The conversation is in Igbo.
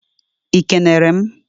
ị kenere m?